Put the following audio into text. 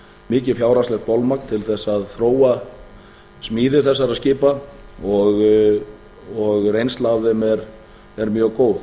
mikið fjárhagslegt bolmagn til að þróa smíði þessara skipa og reynsla af þeim er mjög góð